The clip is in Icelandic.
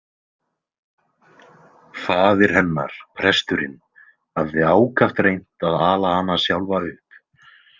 Faðir hennar presturinn hafði ákaft reynt að ala hana sjálfa upp.